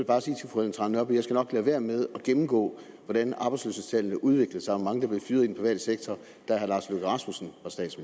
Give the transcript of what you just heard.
bare sige til fru ellen trane nørby at skal lade være med at gennemgå hvordan arbejdsløshedstallene udviklede sig og hvor mange der blev fyret i den private sektor da herre lars løkke rasmussen